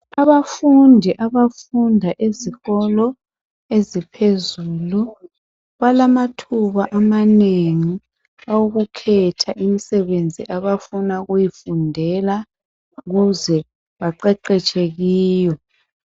Abafundi abafunda ezikolo eziphezulu, balamathuba amanengi awokukhetha imsebenzi abafuna ukuyifundela ukuze baqeqetshe kiyo.